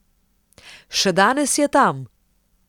Še danes je tam.